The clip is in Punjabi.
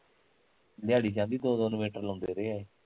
ਦਿਆੜੀ ਚ ਕਹਿੰਦੀ ਦੋ ਦੋ inventor ਲਾਉਂਦੇ ਰਹੇ ਆ ਏਹ